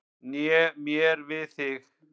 Né mér við þig.